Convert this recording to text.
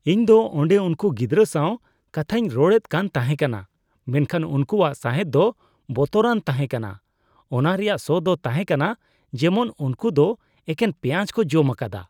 ᱤᱧ ᱫᱚ ᱚᱸᱰᱮ ᱩᱝᱠᱩ ᱜᱤᱫᱨᱟᱹ ᱥᱟᱣ ᱠᱟᱛᱷᱟᱧ ᱨᱚᱲᱮᱫ ᱠᱟᱱ ᱛᱟᱦᱮᱠᱟᱱᱟ ᱢᱮᱱᱠᱷᱟᱱ ᱩᱝᱠᱩᱣᱟᱜ ᱥᱟᱸᱦᱮᱫ ᱫᱚ ᱵᱚᱛᱚᱨᱟᱱ ᱛᱟᱦᱮᱠᱟᱱᱟ ᱾ ᱚᱱᱟ ᱨᱮᱭᱟᱜ ᱥᱚ ᱫᱚ ᱛᱟᱦᱮᱠᱟᱱᱟ ᱡᱮᱢᱚᱱ ᱩᱝᱠᱩ ᱫᱚ ᱮᱠᱮᱱ ᱯᱮᱸᱭᱟᱡ ᱠᱚ ᱡᱚᱢ ᱟᱠᱟᱫᱟ ᱾